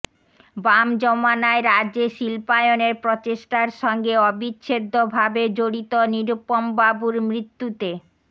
বাম জমানায় রাজ্যে শিল্পায়নের প্রচেষ্টার সঙ্গে অবিচ্ছেদ্য ভাবে জড়িত নিরুপমবাবুর মৃত্যুতে